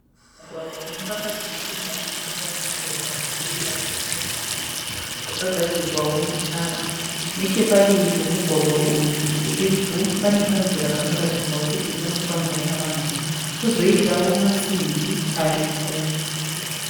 Mugwagwa unofamba dzimotokari nemimwewo michovha ichienda kwakasiyana siyana. Wakagadzirwawo netara. Nechepadivi pomugwagwa uyu pedyo pedyo pane kanzira kanoratidzawo kuti kanofambwa navanhu kwozoitawo masimbi ariko.